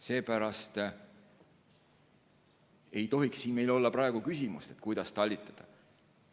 Seepärast ei tohikski meil siin olla praegu küsimust, et kuidas talitada.